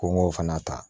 Ko n k'o fana ta